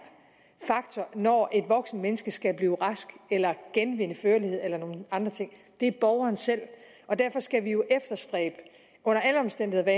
faktor når et voksent menneske skal blive rask genvinde førligheden eller nogle andre ting er borgeren selv derfor skal vi jo under alle omstændigheder